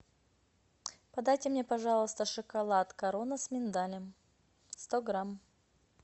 подайте мне пожалуйста шоколад корона с миндалем сто грамм